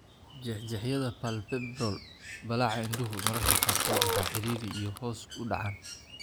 Jeexjeexyada palpebral (ballaca indhuhu) mararka qaarkood waa cidhiidhi iyo hoos u dhacaan.